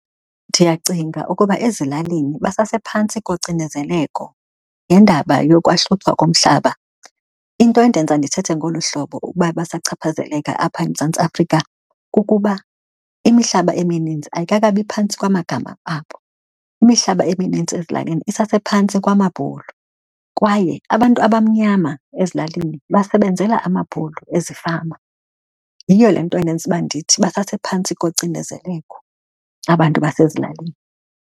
Ndiyacinga ukuba ezilalini basasephantsi kocinezeleko ngendaba yokwahluthwa komhlaba. Into endenza ndithethe ngolu hlobo ukuba basachaphazeleka apha eMzantsi Afrika kukuba imihlaba emininzi ayikakabi phantsi kwamagama abo. Imihlaba eminintsi ezilalini isasephantsi kwamabhulu kwaye abantu abamnyama ezilalini basebenzela amabhulu ezifama. Yiyo le nto endenza uba ndithi basasephantsi kocinezeleko abantu basezilalini.